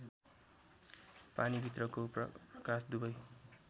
पानीभित्रको प्रकाश दुवै